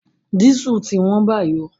Dísù ti wón báyìí